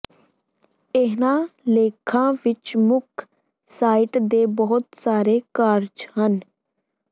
ਇਨ੍ਹਾਂ ਲੇਖਾਂ ਵਿੱਚ ਮੁੱਖ ਸਾਈਟ ਦੇ ਬਹੁਤ ਸਾਰੇ ਕਾਰਜ ਹਨ